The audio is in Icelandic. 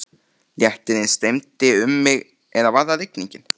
Léttirinn streymdi um mig eða var það rigningin?